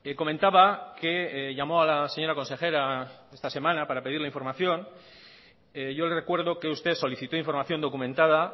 comentaba que llamó a la señora consejera esta semana para pedirla información yo le recuerdo que usted solicitó información documentada